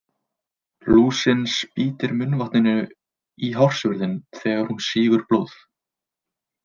Lúsin spýtir munnvatninu í hársvörðinn þegar hún sýgur blóð.